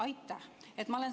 Aitäh!